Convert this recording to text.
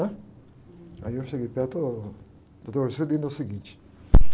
né? Aí eu cheguei perto, ôh, Dr. Juscelino, é o seguinte.